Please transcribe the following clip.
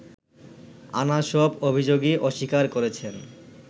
আনা সব অভিযোগই অস্বীকার করেছেন